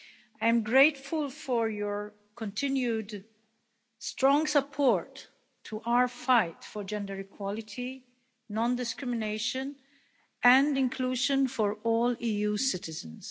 I am grateful for your continued strong support to our fight for gender equality, non discrimination and inclusion for all EU citizens.